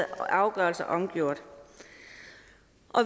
afgørelser omgjort